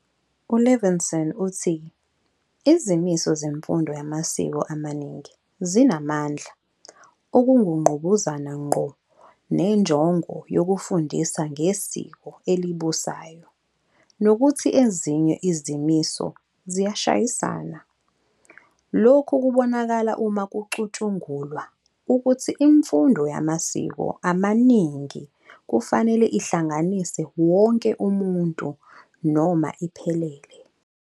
U-Levinson uthi izimiso zemfundo yamasiko amaningi zinamandla okungqubuzana ngqo nenjongo yokufundisa ngesiko elibusayo nokuthi ezinye izimiso ziyashayisana. Lokhu kubonakala uma kucutshungulwa ukuthi imfundo yamasiko amaningi kufanele ihlanganise wonke umuntu noma iphelele.